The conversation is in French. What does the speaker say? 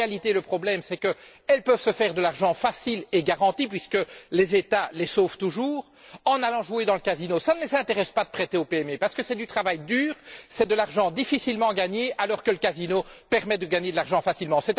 En réalité, le problème, c'est qu'elles peuvent se faire de l'argent facile et garanti puisque les États les sauvent toujours en allant jouer au casino. Cela ne les intéresse pas de prêter aux PME parce que c'est du travail dur, c'est de l'argent difficilement gagné, alors que le casino permet de gagner de l'argent facilement.